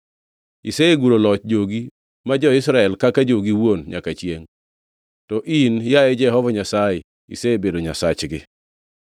Iseguro loch jogi ma jo-Israel kaka jogi iwuon nyaka chiengʼ to in yaye Jehova Nyasaye isebedo Nyasachgi.